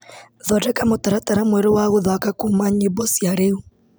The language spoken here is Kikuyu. Thondeka mũtaratara mwerũ wa gũthaka kuma nyĩmbo cia rĩu.